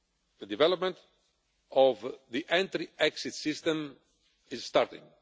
The development of the entry exit system is starting.